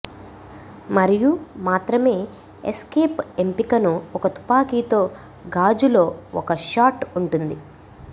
మరియు మాత్రమే ఎస్కేప్ ఎంపికను ఒక తుపాకీతో గాజు లో ఒక షాట్ ఉంటుంది